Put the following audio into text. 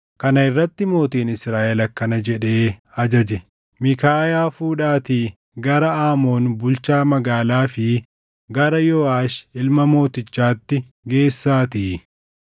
Kana irratti mootiin Israaʼel akkana jedhee ajaje; “Miikaayaa fuudhaatii gara Aamoon bulchaa magaalaa fi gara Yooʼaash ilma mootichaatti geessaatii,